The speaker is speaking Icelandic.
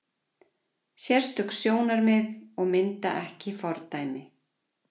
Sérstök sjónarmið og mynda ekki fordæmi